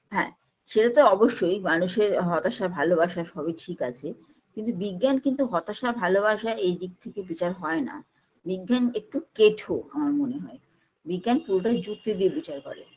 হ্যাঁ সেটাতো অবশ্যই মানুষের হতাশা ভালোবাসা সবই ঠিক আছে কিন্তু বিজ্ঞান কিন্তু হতাশা ভালোবাসা এই দিক থেকে বিচার হয়না বিজ্ঞান একটু কেঠো আমার মনে হয় বিজ্ঞান পুরোটাই যুক্তি দিয়ে বিচার করে